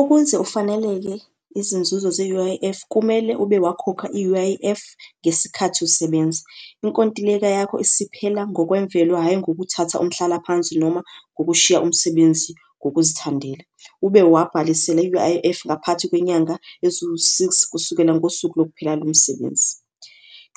Ukuze ufaneleke izinzuzo ze-U_I_F kumele ube wakhokha i-U_I_F ngesikhathi usebenza, inkontileka yakho isiphela ngokwemvelo hhayi ngokuthatha umhlalaphansi, noma ngokushiya umsebenzi ngokuzithandela. Ube wabhalisela i-U_I_F ngaphakathi kwenyanga eziwu-six kusukela ngosuku lokuphela lomsebenzi.